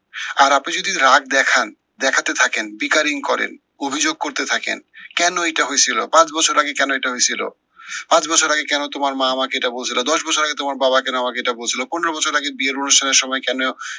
আর আপনি যদি রাগ দেখান, দেখাতে থাকেন করেন অভিযোগ করতে থাকেন, কেন এইটা হয়েছিল পাঁচ বছর আগে কেন এইটা হয়েছিল, পাঁচ বছর আগে কেন তোমার মা আমাকে এটা কেন বলছিলো দশ বছর আগে তোমার বাবা কেন আমাকে এটা বলছিলো? পনেরো বছর আগে বিয়ের অনুষ্ঠানের সময় কেন,